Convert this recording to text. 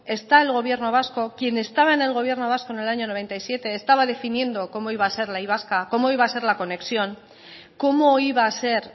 está el gobierno vasco quien estaba en el gobierno vasco en el año mil novecientos noventa y siete estaba definiendo cómo iba a ser la y vasca cómo iba a ser la conexión cómo iba a ser